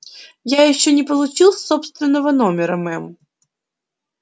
я ещё не получил собственного номера мэм